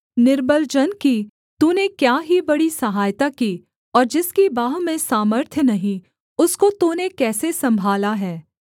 निर्बल जन की तूने क्या ही बड़ी सहायता की और जिसकी बाँह में सामर्थ्य नहीं उसको तूने कैसे सम्भाला है